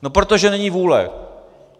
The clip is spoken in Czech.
No protože není vůle!